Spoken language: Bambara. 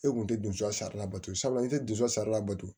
E kun tɛ don so sari la bato sabula i tɛ dusɛri la bato